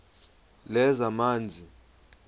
lezamanzi